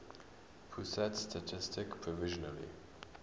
pusat statistik provisionally